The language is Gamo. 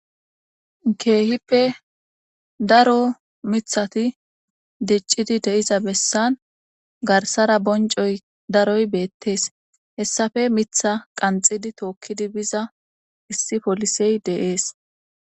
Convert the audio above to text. Keehippe daro miththati diccidi de'iza bessan garssara bonccoy beetesi. Hayssappe qanxxidi tookodi diza issi poolisey de'essi.